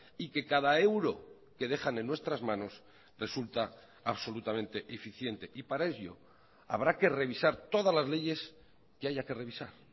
y que cada euro que dejan en nuestras manos resulta absolutamente eficiente y para ello habrá que revisar todas las leyes que haya que revisar